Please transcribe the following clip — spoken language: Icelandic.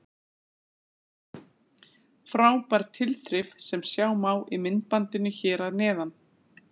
Frábær tilþrif sem sjá má í myndbandinu hér að neðan.